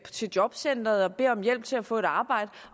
til jobcenteret og beder om hjælp til at få et arbejde